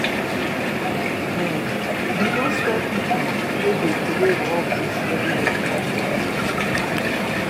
um we don stop pipo wey dey troway rubbish everywhere for we community.